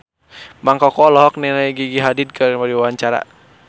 Mang Koko olohok ningali Gigi Hadid keur diwawancara